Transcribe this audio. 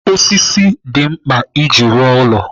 Osisi dị mkpa iji rụọ ụlọ.